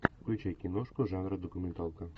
включай киношку жанра документалка